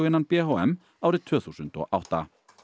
innan b h m árið tvö þúsund og átta